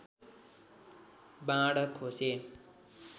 बाण खोसे